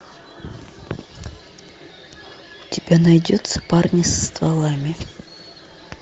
у тебя найдется парни со стволами